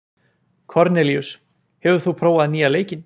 Kornelíus, hefur þú prófað nýja leikinn?